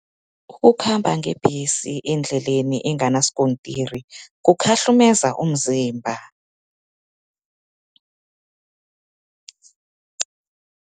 Ukukhamba ngebhesi endleleni enganaskontiri, kukhahlumeza umzimba.